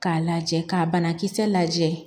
K'a lajɛ ka banakisɛ lajɛ